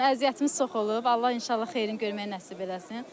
Yəni əziyyətimiz çox olub, Allah inşallah xeyrini görməyi nəsib eləsin.